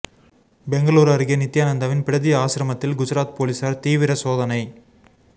பெங்களூரு அருகே நித்தியானந்தாவின் பிடதி ஆசிரமத்தில் குஜராத் போலீசார் தீவிர சோதனை